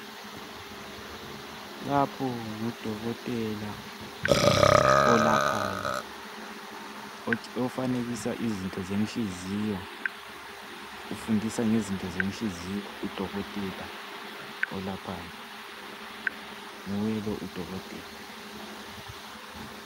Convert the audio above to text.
Lapho ngudokotela, olaphayo. Otshe...Ofanekisa izinto zenhliziyo,. Ufundisa ngezinto zenhliziyo, udokotela olaphayo. Nguye lo, udokotela.